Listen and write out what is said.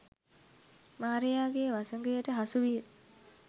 මාරයාගේ වසඟයට හසුවිය